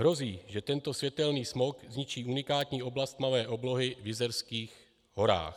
Hrozí, že tento světelný smog zničí unikátní oblast tmavé oblohy v Jizerských horách.